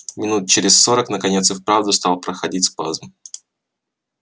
минут через сорок наконец и вправду стал проходить спазм